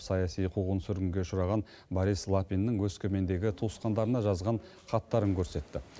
саяси қуғын сүргінге ұшыраған борис лапиннің өскемендегі туысқандарына жазған хаттарын көрсетті